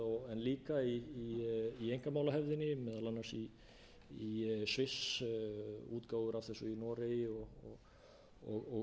en líka í einkamálahefðinni meðal annars í sviss útgáfur af þessu í noregi